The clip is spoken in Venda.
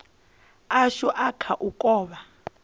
ashu a kha u kovha